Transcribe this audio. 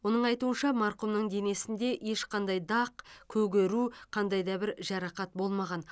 оның айтуынша марқұмның денесінде ешқандай дақ көгеру қандай да бір жарақат болмаған